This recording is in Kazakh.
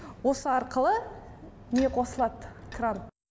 осы арқылы не қосылад кран